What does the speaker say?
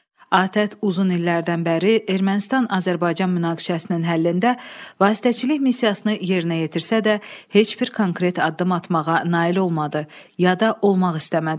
ATƏT uzun illərdən bəri Ermənistan-Azərbaycan münaqişəsinin həllində vasitəçilik missiyasını yerinə yetirsə də, heç bir konkret addım atmağa nail olmadı, ya da olmaq istəmədi.